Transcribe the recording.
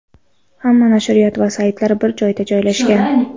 Hamma nashriyot va saytlar bir joyda joylashgan.